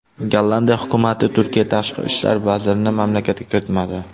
Gollandiya hukumati Turkiya tashqi ishlar vazirini mamlakatga kiritmadi.